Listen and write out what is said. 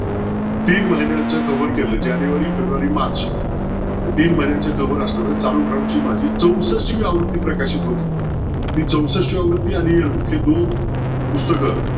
तीन महिन्याचं cover केलं जानेवारी फेब्रुवारी मार्च हे तीन महिन्यांचं cover असणार माझी चौसष्टवी आवृत्ती प्रकाशित होती ती चौष्टावी आवृत्ती आणि मुख्य दोन पुस्तक